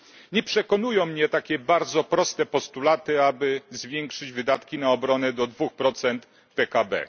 Nie przekonują mnie takie bardzo proste postulaty, aby zwiększyć wydatki na obronę do dwóch procent PKB.